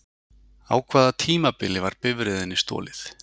Á hvaða tímabili var bifreiðinni stolið?